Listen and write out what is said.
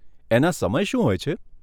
એના સમય શું હોય છે?